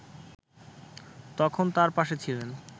তখন তার পাশে ছিলেন